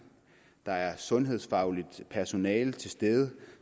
der er sundhedsfagligt personale til stede